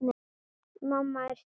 Mamma er sterk.